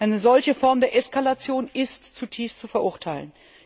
Eine solche Form der Eskalation ist zutiefst zu verurteilen.